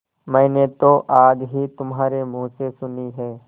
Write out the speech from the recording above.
मैंने तो आज ही तुम्हारे मुँह से सुनी है